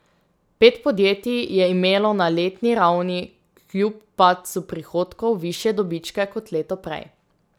Pet podjetij je imelo na letni ravni kljub padcu prihodkov višje dobičke kot leto prej.